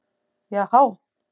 Já há!